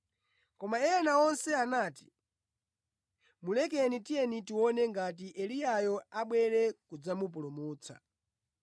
Koma ena onse anati, “Mulekeni tiyeni tione ngati Eliyayo abwere kudzamupulutsa.”